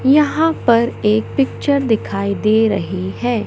यहां पर एक पिक्चर दिखाई दे रही है।